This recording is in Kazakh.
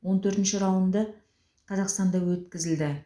он төртінші раунды қазақстанда өткізілді